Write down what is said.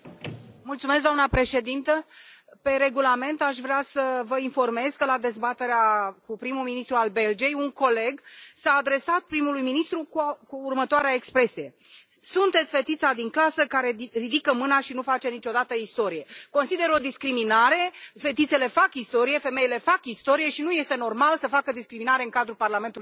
Doamna președintă, conform Regulamentului aș vrea să vă informez că, la dezbaterea cu primul ministru al Belgiei, un coleg s a adresat primului ministru cu următoarea expresie Sunteți fetița din clasă care ridică mâna și nu face niciodată istorie. Consider că este o discriminare, fetițele fac istorie, femeile fac istorie și nu este normal să facă discriminare în cadrul Parlamentului European.